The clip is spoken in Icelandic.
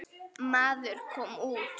Maður kom út.